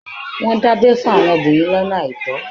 Wọ́n dábẹ fún àwọn obìnrin lọ́nà àìtọ́.